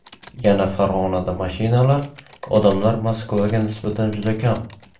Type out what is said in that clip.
Yana Farg‘onada mashinalar, odamlar Moskvaga nisbatan juda kam.